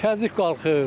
Təzyiq qalxır.